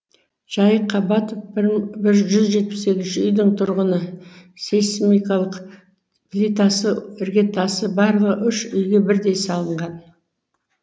жайық қабатов бір жүз жетпіс сегізінші үйдің тұрғыны сейсмикалық плитасы іргетасы барлығы үш үйге бірдей салынған